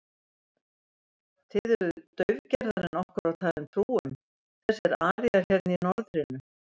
Þið eruð daufgerðari en okkur var talin trú um, þessir aríar hérna í norðrinu.